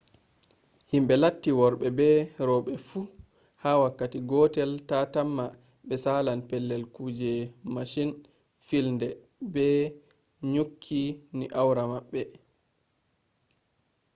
himɓe latti worɓe be roɓe fu ha wakkati gotel ta tamma ɓe salan pellel kuje mashin filnde ɓe ɗo nyukki ni awra maɓɓe